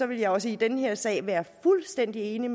vil jeg også i den her sag være fuldstændig enig